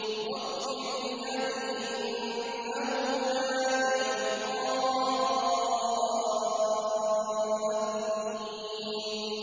وَاغْفِرْ لِأَبِي إِنَّهُ كَانَ مِنَ الضَّالِّينَ